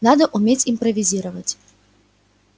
надо уметь импровизировать